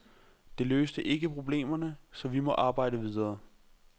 Det løste ikke problemerne, så vi må arbejde videre.